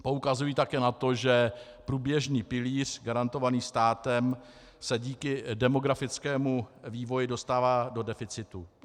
Poukazují také na to, že průběžný pilíř garantovaný státem se díky demografickému vývoji dostává do deficitu.